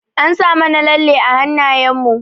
An sa mana lalle a hanayen mu.